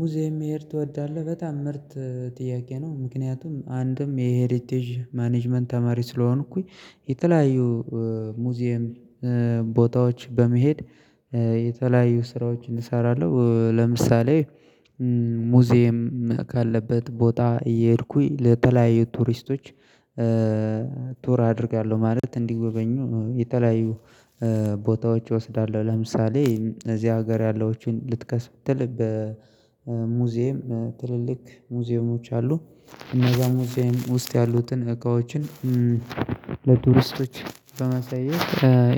ሙዚየም መሄድ ትወዳለህ? በጣም ምርጥ ጥያቄ ነው ምክንያቱም አንድም የሄሪቴጅ ማኔጅመንት ተማሪ ስለሆንኩኝ የተለያዩ ሙዚየም ቦታዎች በመሄድ ስራዎችን እሰራለሁ። ለምሳሌ ሙዚየም ካለበት ቦታ እየሄድኩኝ ለተለያዩ ቱሪስቶች ቱር አደርጋለሁ። ማለት እንዲወበኙ የተለያዩ ቦታዎች እወስዳለሁ ለምሳሌ እዚህ ሀገር ያለዎችን ልትከስ ብትል በሙዚየም ትልልቅ ሙዚየሞች አሉ። እነዛ ሙዚየም ውስጥ ያሉትን እቃዎችን ለቱርስቶች በማሳየት